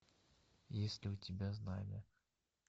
есть ли у тебя знамя